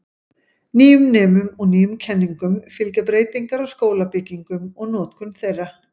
Nýjum nemum og nýjum kenningum fylgja breytingar á skólabyggingum og notkun þeirra.